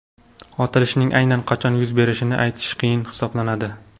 Otilishning aynan qachon yuz berishini aytish qiyin hisoblanadi.